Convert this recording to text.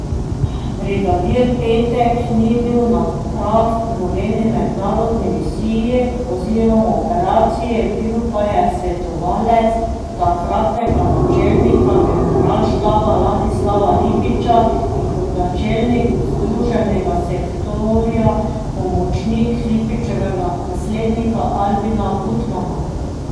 Brigadir Petek ni bil na prav nobeni mednarodni misiji oziroma operaciji, bil pa je svetovalec takratnega načelnika generalštaba Ladislava Lipiča in kot načelnik združenega sektorja pomočnik Lipičevega naslednika Albina Gutmana.